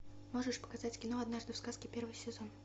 можешь показать кино однажды в сказке первый сезон